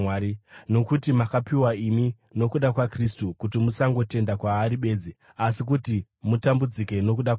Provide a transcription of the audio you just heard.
Nokuti makapiwa imi, nokuda kwaKristu, kuti musangotenda kwaari bedzi, asi kuti mutambudzike nokuda kwake,